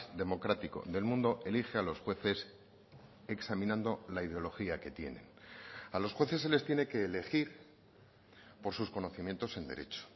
democrático del mundo elige a los jueces examinando la ideología que tienen a los jueces se les tiene que elegir por sus conocimientos en derecho